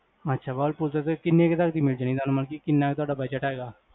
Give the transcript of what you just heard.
ਅਛਾ ਵਹਿਰਲਪੂਲ ਦੇ ਕਿੰਨੇ ਕ ਤਕ ਦੀ ਮਿਲ੍ਜਾਨੀ ਤੁਹਾਨੂ, ਕਿੰਨਾ ਕ ਤੁਹਾਡਾ budget ਹੈਗਾ?